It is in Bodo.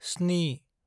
स्नि